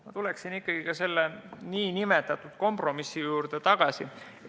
Ma tuleksin ikkagi selle nn kompromissi juurde tagasi.